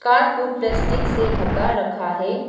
Car को plastic से ढका रखा है।